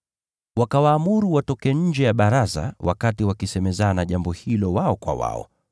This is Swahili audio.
Wakawaamuru watoke nje ya Baraza la Wayahudi wakati wakisemezana jambo hilo wao kwa wao.